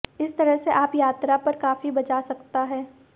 इस तरह से आप यात्रा पर काफी बचा सकता है